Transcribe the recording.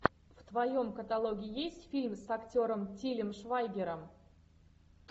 в твоем каталоге есть фильм с актером тилем швайгером